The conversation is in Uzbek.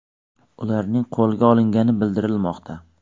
Ularning qo‘lga olingani bildirilmoqda.